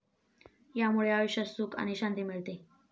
यामुळे आयुष्यात सुख आणि शांती मिळते.